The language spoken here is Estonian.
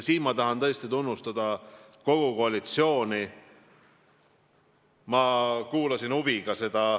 Siin ma tahan tõesti tunnustada kogu koalitsiooni.